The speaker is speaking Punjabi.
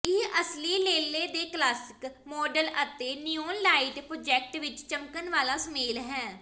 ਇਹ ਅਸਲੀ ਲੇਲੇ ਦੇ ਕਲਾਸਿਕ ਮਾਡਲ ਅਤੇ ਨਿਊਨ ਲਾਈਟ ਪਜੇਟੌਕ ਵਿੱਚ ਚਮਕਣ ਵਾਲਾ ਸੁਮੇਲ ਹੈ